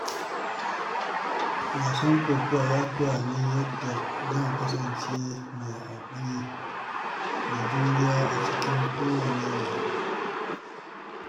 Wasan kokawa ya koya min yadda zan kasance mai haƙuri da juriya a cikin kowane yanayi.